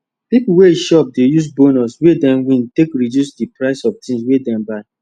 people wey shop dey use bonus wey dem wintake reduce the price of things wey dem buy